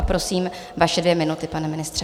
A prosím, vaše dvě minuty, pane ministře.